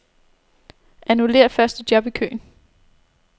Annullér første job i køen.